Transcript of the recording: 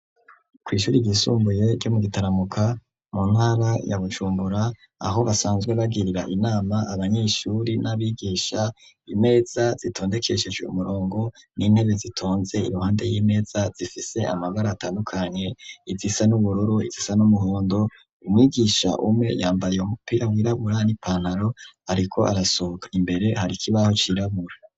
Kwishuri ry'isumbuye ryo mu Gitaramuka mu ntara ya Bujumbura aho basanzwe bagirira inama abanyeshuri n'abigisha . Imeza zitondekeshejwe umurongo n'intebe zitonze iruhande y'imeza zifise amagara atandukanye izisa n'ubururu izisa n'umuhondo umwigisha umwe yambaye umupira wirabura n'ipantaro ariko arasohoka imbere hari kibaho cirabura.